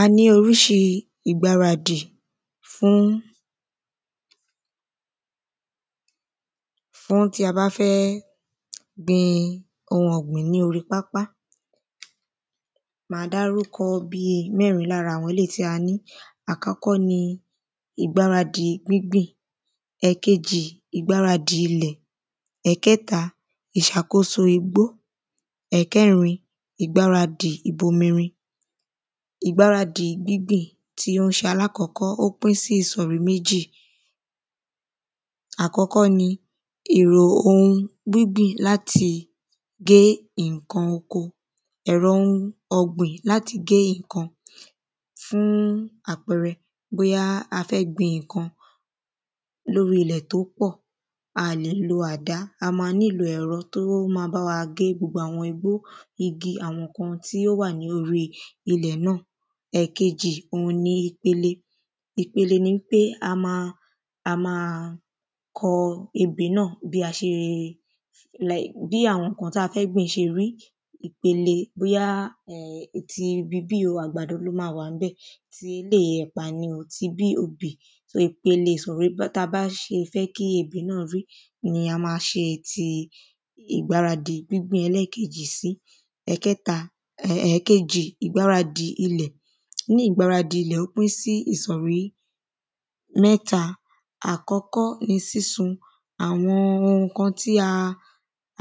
A ní oríṣi ìgbaradì fún fún tí a bá fẹ́ gbin ohun ọ̀gbìn ní orí pápá màá dárúkọ bí mẹ́rin lára eléèyí tí a ní àkọ́kọ́ ni ìgbáradì gbíngbìn ẹ̀kejì ìgbáradì ilẹ̀ ẹ̀kẹta ìṣàkóso igbó ẹ̀kẹrin ìgbáradì ìbomirin Ìgbáradì gbíngbìn tó ń ṣe aláàkọ́kọ́ ó pín sí ìṣòrí méjì àkọ́kọ́ ni èrò ohun gbíngbìn láti gé nǹkan oko ẹ̀rọ nǹkan ọ̀gbìn láti gé nǹkan oko fún àpẹrẹ bóyá a fẹ́ gbin nǹkan lórí ilẹ̀ tó pọ̀ a lè lo àdá a má nílò ẹ̀rọ tó má bá wá gé gbogbo àwọn nǹkan igbó igi tí ó wà lórí ilẹ̀ náà. ẹ̀kejì òhun ni ìpele ìpele ni wípé a má a má kọ ebè náà bí a ṣe bí àwọn nǹkan tí a fẹ́ gbìn ṣe rí ìpele bóyá ti ibi bí yìí o àgbàdo ló má wà ńbẹ̀ ti eléèyí o ẹ̀pà ni tibí obì so ìpele ìsọ̀rí tí a bá fẹ́ kí ebè náà rí òhun ni a má ṣe ìgbaradì gbíngbìn ẹlẹ́ẹ̀kejì sí. Ẹ̀kẹta ẹ̀kejì ìgbáradì ilẹ̀ ní ìgbáradì ilẹ̀ ó pín sí ìsọ̀rí mẹ́ta àkọ́kọ́ ni sísun àwọn ohun nǹkan tí a